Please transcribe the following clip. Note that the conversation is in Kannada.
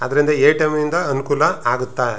ಆದ್ದರಿಂದ ಎ.ಟಿ.ಎಂ ನಿಂದ ಅನುಕೂಲ ಆಗುತ್ತಾ.